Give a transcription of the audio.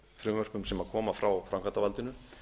frumvörpum sem koma frá framkvæmdarvaldinu